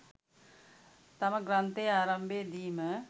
තම ග්‍රන්ථයේ ආරම්භයේ දීම